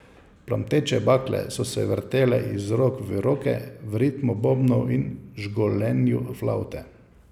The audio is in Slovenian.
Plamteče bakle so se vrtele iz rok v roke v ritmu bobnov in žgolenju flavte.